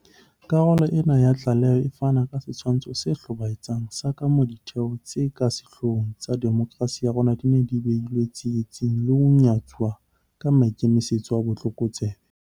Karolo ena ya tlaleho e fana ka setshwantsho se hlobaetsang sa kamoo ditheo tse ka sehlohlolong tsa demokerasi ya rona di neng di behilwe tsietsing le ho nyatsuwa ka maikemisetso a botlokotsebe.